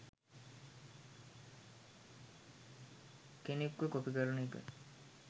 කෙනෙක්ව කොපි කරන එක